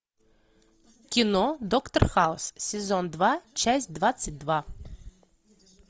кино доктор хаус сезон два часть двадцать два